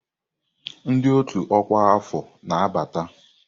Ndị ọ́tù ọkwa afọ na-abata.